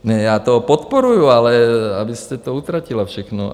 Ne, já to podporuji, ale abyste to utratila všechno.